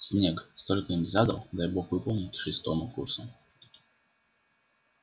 снегг столько им задал дай бог выполнить к шестому курсу